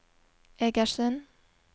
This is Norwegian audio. Egersund